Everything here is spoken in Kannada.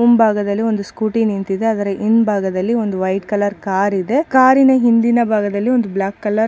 ಮುಂಭಾಗದಲ್ಲಿ ಒಂದು ಸ್ಕೂಟಿ ನಿಂತಿದೆ ಅದರ ಹಿಂಭಾಗದಲ್ಲಿ ಒಂದು ವೈಟ್ ಕಲರ್ ಕಾರ್ ಇದೆ ಕಾರಿನ ಹಿಂದಿನ ಭಾಗದಲ್ಲಿ ಒಂದು ಬ್ಲಾಕ್ ಕಲರ್ --